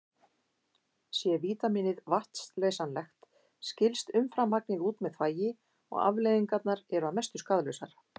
Sé vítamínið vatnsleysanlegt skilst umframmagnið út með þvagi og afleiðingarnar eru að mestu skaðlausar.